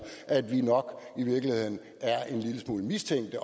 at vi nok i virkeligheden er en lille smule mistænkte